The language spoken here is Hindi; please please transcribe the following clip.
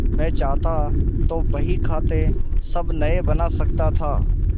मैं चाहता तो बहीखाते सब नये बना सकता था